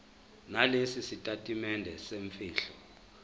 nalesi sitatimende semfihlo